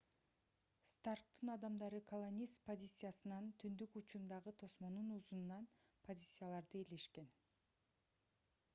старктын адамдары колонист позициясынын түндүк учундагы тосмонун узунунан позицияларды ээлешкен